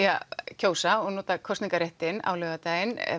að kjósa og nota kosningaréttinn á laugardaginn